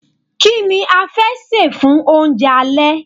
Kí ni a fẹ́ sè fún oúnjẹ alẹ́.